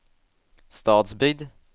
Stadsbygd